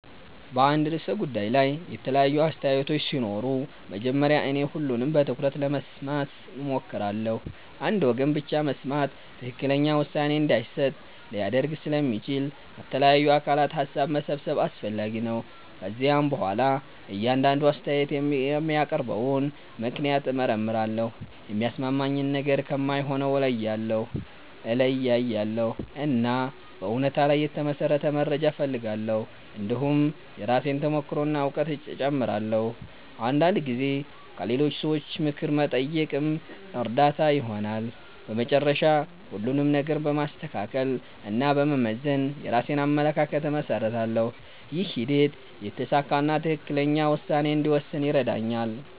በአንድ ርዕሰ ጉዳይ ላይ የተለያዩ አስተያየቶች ሲኖሩ መጀመሪያ እኔ ሁሉንም በትኩረት ለመስማት እሞክራለሁ። አንድ ወገን ብቻ መስማት ትክክለኛ ውሳኔ እንዳይሰጥ ሊያደርግ ስለሚችል ከተለያዩ አካላት ሀሳብ መሰብሰብ አስፈላጊ ነው። ከዚያ በኋላ እያንዳንዱ አስተያየት የሚያቀርበውን ምክንያት እመርመራለሁ። የሚያሳምነኝን ነገር ከማይሆነው እለያያለሁ፣ እና በእውነታ ላይ የተመሠረተ መረጃ እፈልጋለሁ። እንዲሁም የራሴን ተሞክሮ እና እውቀት እጨምራለሁ። አንዳንድ ጊዜ ከሌሎች ሰዎች ምክር መጠየቅም እርዳታ ይሆናል። በመጨረሻ ሁሉንም ነገር በማስተካከል እና በመመዘን የራሴን አመለካከት እመሰርታለሁ። ይህ ሂደት የተሳካ እና ትክክለኛ ውሳኔ እንድወስን ይረዳኛል።